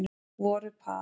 Voru par